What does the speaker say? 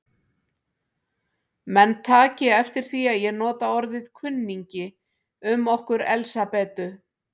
Menn taki eftir því að ég nota orðið kunningi um okkur Elsabetu.